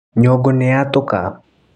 Nyũngũ nĩyatũka.